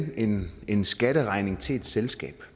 en skatteregning til et selskab